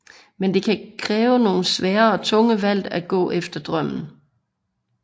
Men det kan kræve nogle svære og tunge valg at gå efter drømmen